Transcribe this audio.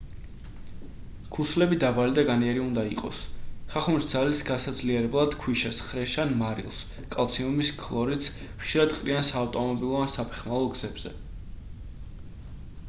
ქუსლები დაბალი და განიერი უნდა იყოს. ხახუნის ძალის გასაძლიერებლად ქვიშას ხრეშს ან მარილს კალციუმის ქლორიდს ხშირად ყრიან საავტომობილო ან საფეხმავლო გზებზე